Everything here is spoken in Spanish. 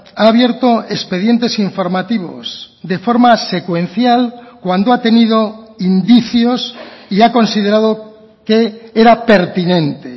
ha abierto expedientes informativos de forma secuencial cuando ha tenido indicios y ha considerado que era pertinente